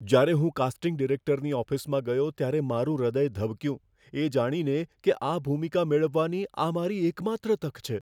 જ્યારે હું કાસ્ટિંગ ડિરેક્ટરની ઓફિસમાં ગયો ત્યારે મારું હૃદય ધબક્યું, એ જાણીને કે આ ભૂમિકા મેળવવાની આ મારી એકમાત્ર તક છે.